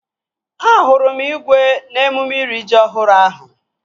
Ahụrụ m igwe n'emume iri ji ọhụrụ ahụ